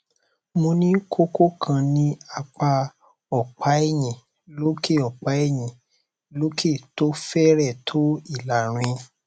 mo ní kókó kan ní apá ọpá ẹyìn lókè ọpá ẹyìn lókè tó fẹrẹẹ tó ìlàrin